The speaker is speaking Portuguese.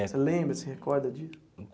Você lembra, se recorda disso?